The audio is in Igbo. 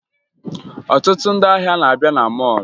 Ọtụtụ ndị ahịa na-abịa na mọọlụ